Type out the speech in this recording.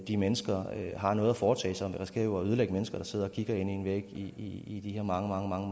de mennesker har noget at foretage sig man risikerer jo at ødelægge mennesker der sidder og kigger ind i en væg i i de her mange